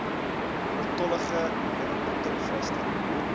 oortollige neweproduk vrystelling